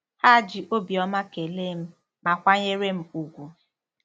Ha ji obiọma kelee m, ma kwanyere m ùgwù.